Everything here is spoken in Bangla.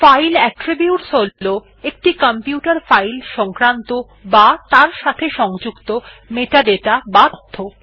ফাইল অ্যাট্রিবিউট হল একটি কম্পিউটার ফাইল সংক্রান্ত বা তার সাথে সংযুক্ত মেটাডাটা বা তথ্য